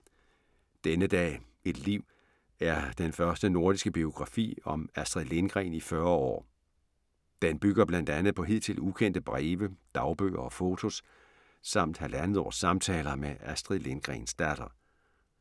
Denne dag, et liv er den første nordiske biografi om Astrid Lindgren i 40 år. Den bygger blandt andet på hidtil ukendte breve, dagbøger og fotos samt halvandet års samtaler med Astrid Lindgrens datter.